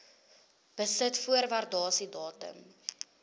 besit voor waardasiedatum